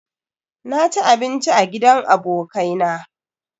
Na ci abinci a gidan abokai na